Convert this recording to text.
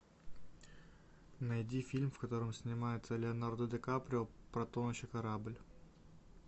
найди фильм в котором снимается леонардо ди каприо про тонущий корабль